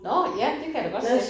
Nåh ja det kan jeg da godt se